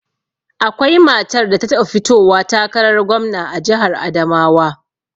Akwai matar da ta taɓa fitowa takarar gwamna a jihar Adamawa